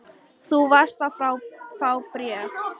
Þú varst að fá bréf.